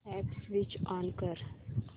app switch on कर